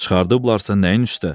Çıxardıblarsa nəyin üstə?